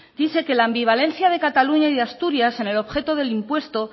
dice que la ambivalencia de cataluña y asturias en el objeto del impuesto